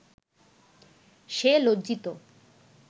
সে লজ্জিত